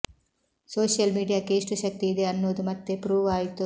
social ಮೀಡಿಯಾಕ್ಕೆ ಎಷ್ಟು ಶಕ್ತಿ ಇದೆ ಅನ್ನೋದು ಮತ್ತೆ ಪ್ರೂವ್ ಆಯ್ತು